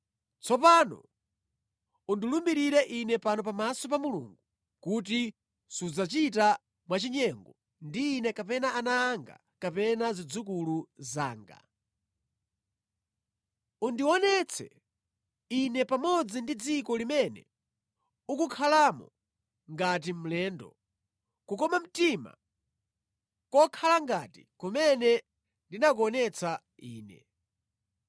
Tsopano undilumbirire ine pano pamaso pa Mulungu kuti sudzachita mwa chinyengo ndi ine kapena ana anga kapena zidzukulu zanga. Undionetse ine pamodzi ndi dziko limene ukukhalamo ngati mlendo, kukoma mtima kokhala ngati kumene ndinakuonetsa ine.”